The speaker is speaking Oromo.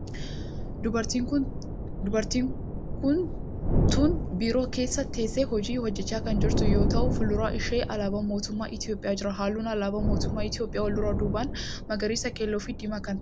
Dubartiin tun biiroo keessa teessee hojii hojjechaa kan jirtu yoo ta'u fuuldura ishee alaabaan mootummaa Itiyoophiyaa jira. halluun alaabaa mootummaa Itiyoophiyaa wal duraa duubaan magariisa, keelloo fi diimaa kan ta'edha.